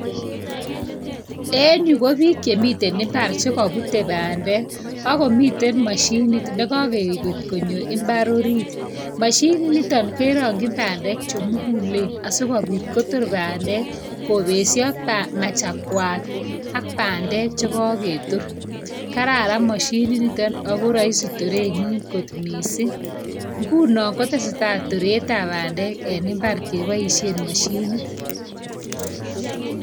En yu ko biik che miten imbar chegopute bandek ago miten mashinit negogeget konyo imbar orit. Mashininito kerongchin bandek che mugulen asigopit kotor bandek kopesio machakuat ak bandek che kogetor. Kararan mashininitet ago raisi torenyin kot mising. Ngunon ko teseta toretab bandek en imbar keboisien mashinit.